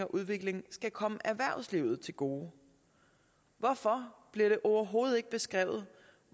udvikling skal komme erhvervslivet til gode hvorfor bliver det overhovedet ikke beskrevet